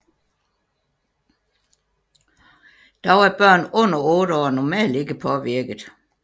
Dog er børn under otte år normalt ikke påvirket